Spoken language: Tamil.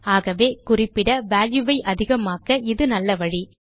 ஆகவே குறிப்பிட வால்யூ ஐ அதிகமாக்க இது நல்ல வழி